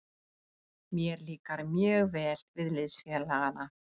Mér líkar mjög vel við liðsfélagana.